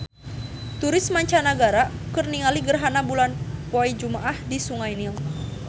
Turis mancanagara keur ningali gerhana bulan poe Jumaah di Sungai Nil